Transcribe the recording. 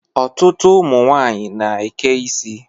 Ọtụtụ ụmụnwanyị na-eke isi.